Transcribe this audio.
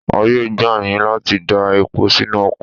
Ààyè gbà yín láti dá epo sínú ọkọ̀.